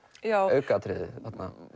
aukaatriði þarna